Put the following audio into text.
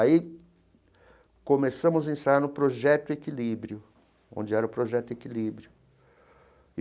Aí começamos a ensaiar no Projeto Equilíbrio, onde era o Projeto Equilíbrio.